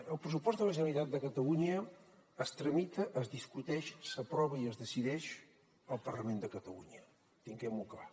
el pressupost de la generalitat de catalunya es tramita es discuteix s’aprova i es decideix al parlament de catalunya tinguemho clar